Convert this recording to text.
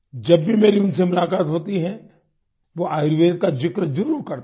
जब भी मेरी उनसे मुलाकात होती है वो आयुर्वेद का जिक्र जरूर करते हैं